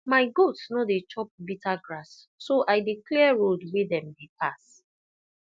my goats no dey chop bitter grass so i dey clear road wey dem dey pass